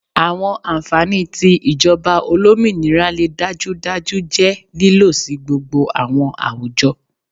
Awọn anfani ti ijọba olominira le dajudaju jẹ lilo si gbogbo awọn awujọ